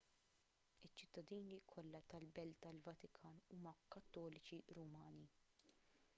iċ-ċittadini kollha tal-belt tal-vatikan huma kattoliċi rumani